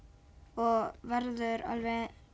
og verður alveg